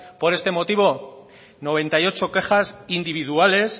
por este motivo noventa y ocho quejas individuales